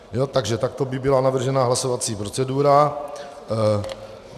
Takže takto by byla navržena hlasovací procedura.